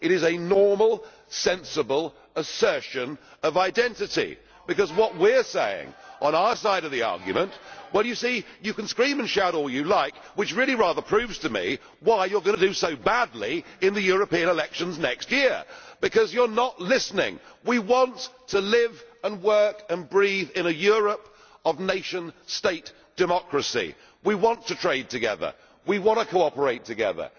It is a normal, sensible assertion of identity. What we are saying on our side of the argument you see, you can scream and shout all you like, which really rather proves to me why you are going to do so badly in the European elections next year, because you are not listening we want to live and work and breathe in a Europe of nation state democracy. We want to trade together, we want to cooperate together.